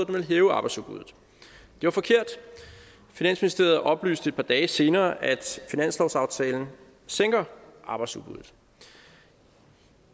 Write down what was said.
ville hæve arbejdsudbuddet det var forkert finansministeriet oplyste et par dage senere at finanslovsaftalen sænker arbejdsudbuddet